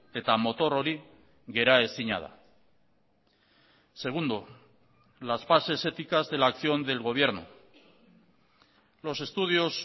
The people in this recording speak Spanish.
eta motor hori geraezina da segundo las bases éticas de la acción del gobierno los estudios